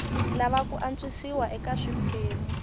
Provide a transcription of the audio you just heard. lava ku antswisiwa eka swiphemu